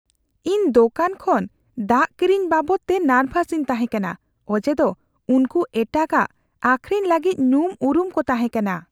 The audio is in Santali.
ᱤᱧ ᱫᱳᱠᱟᱱ ᱠᱷᱚᱱ ᱫᱟᱜ ᱠᱤᱨᱤᱧ ᱵᱟᱵᱚᱫᱛᱮ ᱱᱟᱨᱵᱷᱟᱥᱤᱧ ᱛᱟᱦᱮᱸ ᱠᱟᱱᱟ ᱚᱡᱮ ᱫᱚ ᱩᱱᱠᱚ ᱮᱴᱟᱜᱼᱟᱜ ᱟᱹᱠᱷᱨᱤᱧ ᱞᱟᱹᱜᱤᱫ ᱧᱩᱢᱼᱩᱨᱩᱢ ᱠᱚ ᱛᱟᱦᱮᱸ ᱠᱟᱱᱟ ᱾